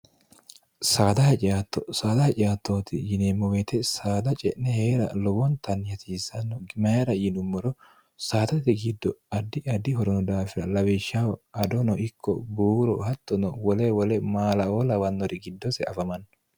sdcttosaada haciattooti yineemmo weete saada ce'ne hee'ra lowontanni hasisanno imaira yinummoro saatati giddo addi addi horono daafira lawishshaho adono ikko buuro hattono wole wole maalaoo lawannori giddose afamanno